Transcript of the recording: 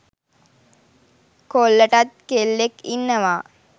කොල්ලටත් කෙල්ලෙක් ඉන්නවා.